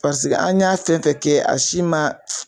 Paseke an y'a fɛn fɛn kɛ a si ma